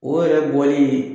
O yɛrɛ bɔli